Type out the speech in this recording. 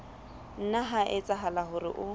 nna ha etsahala hore o